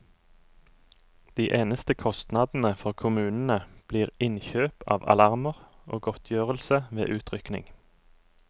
De eneste kostnadene for kommunene blir innkjøp av alarmer og godtgjørelse ved utrykning.